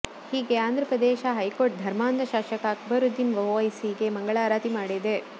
ಹೀಗೆ ಆಂಧ್ರಪ್ರದೇಶ ಹೈಕೋರ್ಟ್ ಧರ್ಮಾಂಧ ಶಾಸಕ ಅಕ್ಬರುದ್ದೀನ್ ಒವೈಸಿಗೆ ಮಂಗಳಾರತಿ ಮಾಡಿದೆ